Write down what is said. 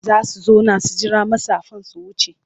Za su zauna su jira matsafan su wuce.